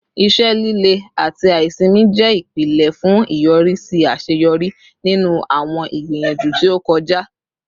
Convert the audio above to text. Ise lile ati aisimi jẹ ipilẹ fun iyọrisi aṣeyọri ninu awọn igbiyanju ti o kọja